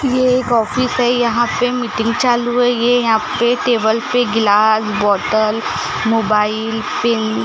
ये एक ऑफिस है यहां पे मीटिंग चालू है ये यहां पे टेबल पे ग्लास बॉटल मोबाइल पेन --